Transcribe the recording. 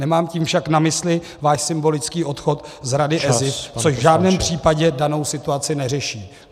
Nemám tím však na mysli váš symbolický odchod z Rady ESIF, což v žádném případě danou situaci neřeší.